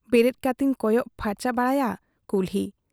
ᱵᱮᱨᱮᱫ ᱠᱟᱛᱮᱧ ᱠᱚᱭᱚᱜ ᱯᱦᱟᱨᱪᱟ ᱵᱟᱲᱟᱭᱟ ᱠᱩᱞᱦᱤ ᱾